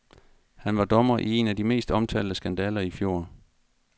Han var dommer i en af de mest omtalte skandaler i fjor.